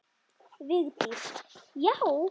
Vigdís: Já!